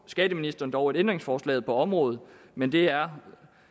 skatteministeren dog et ændringsforslag på området men det er